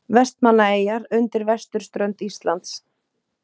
Vestmannaeyjar undan vesturströnd Íslands.